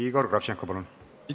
Igor Kravtšenko, palun!